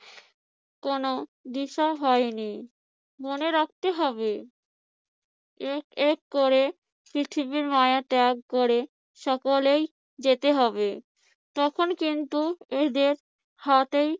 কোন দিশা হয়নি। মনে রাখতে, হবে এক এক করে পৃথিবীর মায়া ত্যাগ করে সকলেই যেতে হবে। তখন কিন্তু এদের হাতেই